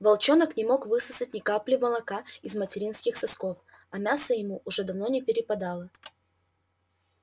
волчонок не мог высосать ни капли молока из материнских сосков а мяса ему уже давно не перепадало